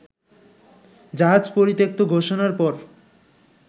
জাহাজ পরিত্যক্ত ঘোষণার পর